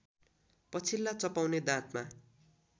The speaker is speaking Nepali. पछिल्ला चपाउने दाँतमा